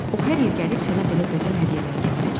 O hər il gəlib sənə belə gözəl hədiyyələr gətirəcək.